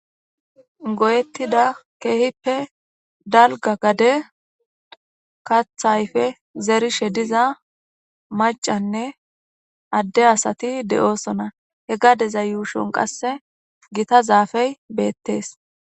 goyettida keehippe dalga gade kathayfe zerishe diza macanne adde asati de7osona he gadeza yuushon qasse gita zaafey beettees